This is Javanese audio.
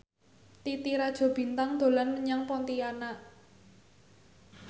Titi Rajo Bintang dolan menyang Pontianak